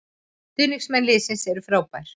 Stuðningsmenn liðsins eru frábær